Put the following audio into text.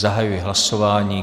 Zahajuji hlasování.